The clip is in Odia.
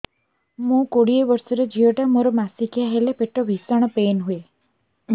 ମୁ କୋଡ଼ିଏ ବର୍ଷର ଝିଅ ଟା ମୋର ମାସିକିଆ ହେଲେ ପେଟ ଭୀଷଣ ପେନ ହୁଏ